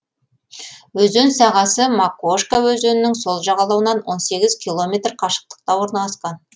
өзен сағасы макошка өзенінің сол жағалауынан он сегіз километр қашықтықта орналасқан